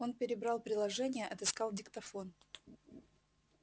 он перебрал приложения отыскал диктофон